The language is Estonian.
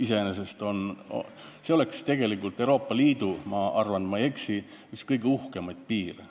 See oleks tegelikult Euroopa Liidu – ma arvan, et ma ei eksi – üks kõige uhkemaid piire.